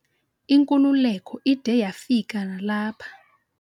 Inkululeko ide yafika nalapha.